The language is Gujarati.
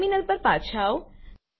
ટર્મિનલ પર પાછા આવો